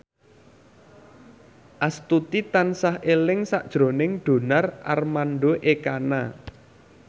Astuti tansah eling sakjroning Donar Armando Ekana